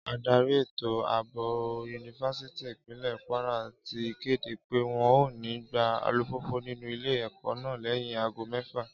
Ádárì ètò àbò yunifásítì Ìpínlẹ̀ Kwara ti kéde pé wọn ò ní gbà alùpùpù nínú Ilé-ẹ̀kọ́ náà lẹ́yìn aago mẹ́fà